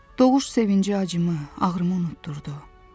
Doğuş sevincim acımı, ağrımı unutdurdu.